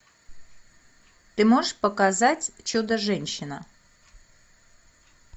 ты можешь показать чудо женщина